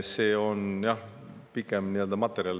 See on jah pikem materjal.